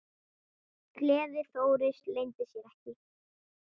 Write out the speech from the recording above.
Gleði Þóris leyndi sér ekki.